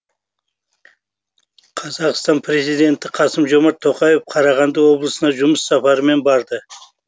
қазақстан президенті қасым жомарт тоқаев қарағанды облысына жұмыс сапарымен барды